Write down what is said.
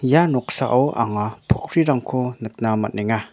ia noksao anga pokkrirangko nikna man·enga.